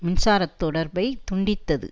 மின்சாரத் தொடர்பை துண்டித்தது